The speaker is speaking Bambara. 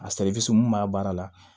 A mun b'a baara la